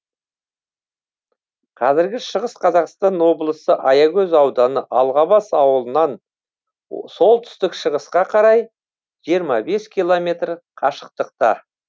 қазіргі шығыс қазақстан облысы аягөз ауданы алғабас ауылынан солтүстік шығысқа қарай жиырма бес километр қашықтықта